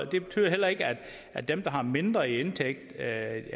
det betyder ikke at dem der har mindre i indtægt ikke